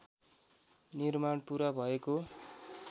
निर्माण पुरा भएको